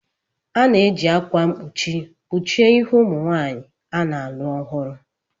A na-eji akwa mkpuchi kpuchie ihu ụmụ nwanyị a na-alụ ọhụrụ.